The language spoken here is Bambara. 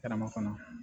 Karama fana